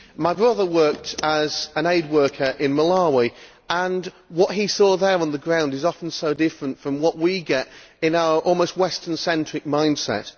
My brother worked as an aid worker in Malawi and what he saw there on the ground is often so different from what we get in our, almost Western-centric mind set.